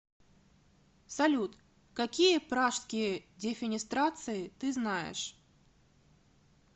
салют какие пражские дефенестрации ты знаешь